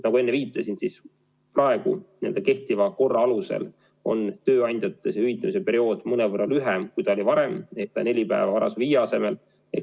Nagu ma enne viitasin, praegu kehtiva korra alusel on tööandjatel see hüvitamise periood mõnevõrra lühem kui varem: neli päeva varasema viie asemel.